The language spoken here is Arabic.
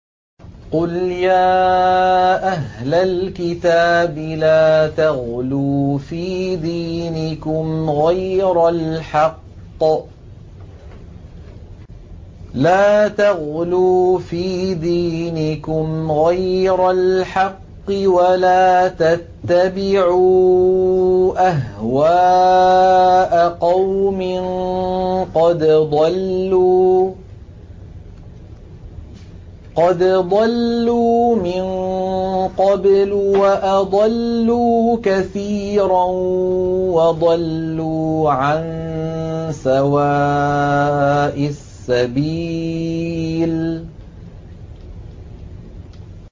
قُلْ يَا أَهْلَ الْكِتَابِ لَا تَغْلُوا فِي دِينِكُمْ غَيْرَ الْحَقِّ وَلَا تَتَّبِعُوا أَهْوَاءَ قَوْمٍ قَدْ ضَلُّوا مِن قَبْلُ وَأَضَلُّوا كَثِيرًا وَضَلُّوا عَن سَوَاءِ السَّبِيلِ